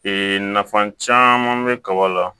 nafa caman bɛ kaba la